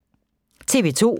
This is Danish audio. TV 2